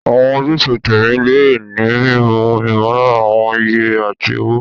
Àwọn ojúṣe tẹ̀mí lè ní mímú ìmọ̀lára àwọn iye àti ọ̀wọ̀.